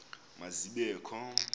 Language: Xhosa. ma zibe kho